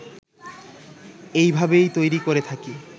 এইভাবেই তৈরি করে থাকি